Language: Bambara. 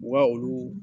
U ka olu